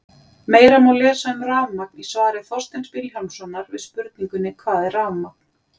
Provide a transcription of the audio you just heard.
Meira má lesa um rafmagn í svari Þorsteins Vilhjálmssonar við spurningunni Hvað er rafmagn?